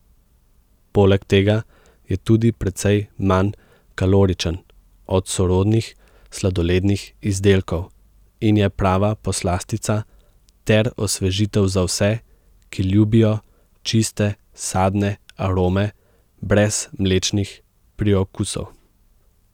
Poleg tega je tudi precej manj kaloričen od sorodnih sladolednih izdelkov in je prava poslastica ter osvežitev za vse, ki ljubijo čiste sadne arome brez mlečnih priokusov.